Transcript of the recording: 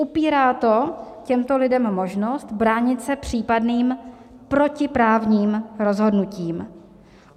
Upírá to těmto lidem možnost bránit se případným protiprávním rozhodnutím.